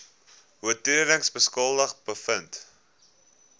oortredings skuldig bevind